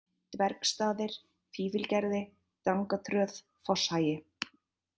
Dvergsstaðir, Fífilgerði, Drangatröð, Fosshagi